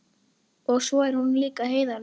Og svo er hún líka heiðarleg.